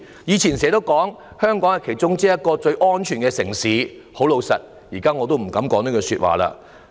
過去我們經常說香港是其中一個最安全的城市，但我現在已不敢再說這句話了。